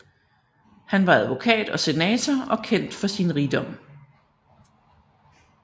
Han var advokat og senator og kendt for sin rigdom